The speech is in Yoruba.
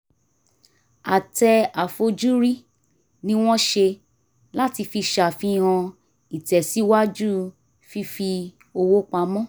àtẹ àfojúrí ni wọ́n ṣe láti fi ṣàfihàn ìtẹ́síwájú fífi owó pamọ́